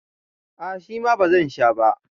a ' shima ba zan Sha ba